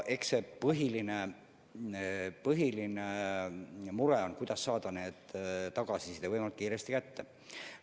Eks põhiline mure on, kuidas nüüd tagasisidet võimalikult kiiresti saada.